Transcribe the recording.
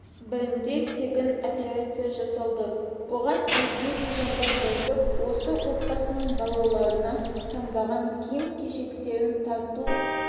бірінде тегін операция жасалады оған өзге де жандар бірігіп осы отбасының балаларына таңдаған киім-кешектерін тарту